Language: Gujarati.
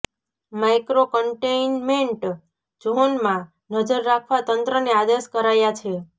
માઈક્રો કન્ટેઈન્મેન્ટ ઝોનમાં નજર રાખવા તંત્રને આદેશ કરાયા છે